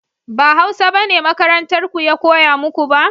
ba hausa bane makarantar ku ya koya muku ba?